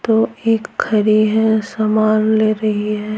तो एक है सामान ले रही है।